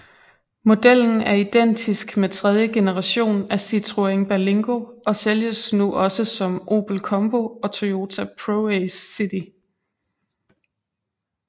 Modellen er identisk med tredje generation af Citroën Berlingo og sælges nu også som Opel Combo og Toyota ProAce City